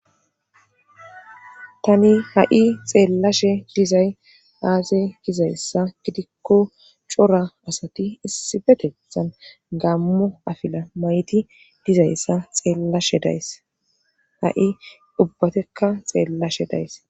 Tani ha7i xeellashe dizay aaze gizayssa gidikko cora asati issife tethan gammo afila mayti dizayssa xeellashe days ha7i ubbatekka xeellashe days